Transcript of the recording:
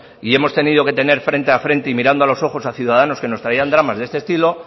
y hemos tenido que tener frente a frente y mirando a los ojos a ciudadanos que nos traían dramas de este estilo